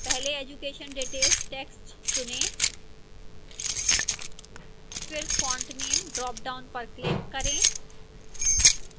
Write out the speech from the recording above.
पहले education details text चुनें फिर font name ड्रापडाउन पर क्लिक करें